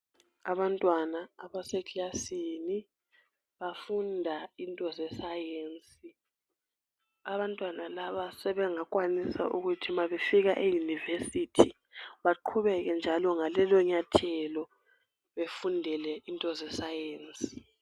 Abantwana abasekilasini bafunda into zesayensi. Abantwana laba sengekwanisa ukuthi mabefika eyunivesithi bagqubeke njalo ngalelo nyathelo befundele into zesayensi.